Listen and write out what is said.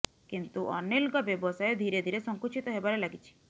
କିନ୍ତୁ ଅନିଲଙ୍କ ବ୍ୟବସାୟ ଧୀରେ ଧୀରେ ସଙ୍କୁଚିତ ହେବାରେ ଲାଗିଛି